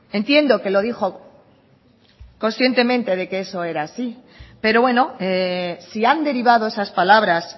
entiendo que lo dijo conscientemente de que eso era así pero bueno si han derivado esas palabras